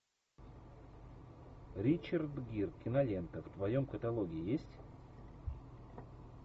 ричард гир кинолента в твоем каталоге есть